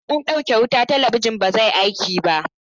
Idan an ɗauke wuta, talabijin ba zai aiki ba.